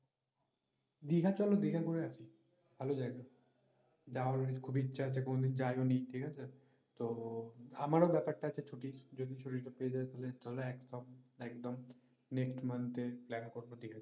দিঘা চলো দিঘা ঘুরে আসি ভালো জায়গা যাওয়ার খুবই ইচ্ছা আছে কোনোদিন যাইওনি ঠিক আছে? তো আমারও ব্যাপার টা আছে ছুটির যদি ছুটি টা পেয়ে যাই তাহলে একদম একদম next month এর plan করবো